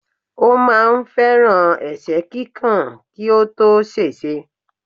Ó máà ń fẹ́ràn ẹ̀sẹ́ kíkàn kí ó tó ṣèṣe.